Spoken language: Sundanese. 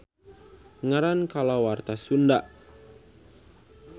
Ngaran kalawarta Sunda.